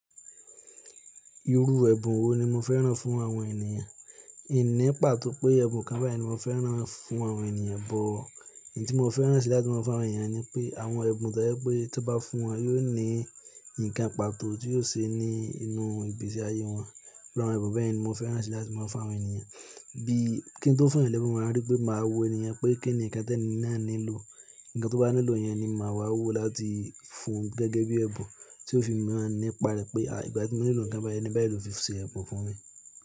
Irú ẹbùn wo ni mo fẹ́ràn fún àwọn ènìyàn? Ìní pàtó pé ẹbùn kan báyìí ni mo fẹ́ràn fún àwọn ènìyàn, bọ̀ ìyí tí mo fẹ́ràn sí i láti máa fún àwọn ènìyàn ni pé àwọn ẹbùn to je pé tí ó bá fún wọn, yóò ní ǹkan pàtó tí yóò ṣe ní inú ìgbésí ayé wọn. Irù awon ẹbùn bẹ́yẹ̀ ni mo fẹ́ràn sí i láti máa fún àwọn ènìyàn. Bí kí n tó fún ẹ̀lẹ́bùú, màá rí pé màá wo ènìyàn pé kí ni ǹkan tí ẹni náà nílò. Ǹkan tó bá nílò yẹn ni màá wá wò láti fún gẹ́gẹ́ bí ẹbùn tí ó fi máa nípa rẹ̀ pé, àìgbà tí mo nílò ǹkan báyìí eni báyìí ló fi ṣe ẹbùn fún mi.